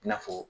I n'a fɔ